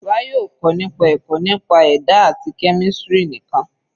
Bayo ò kọ́ nípa ẹ̀kọ́ nípa ẹ̀dá àti kẹ́mísìrì nìkan.